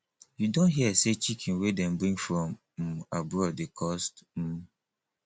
you don hear sey chicken wey dem bring from um abroad dey cost um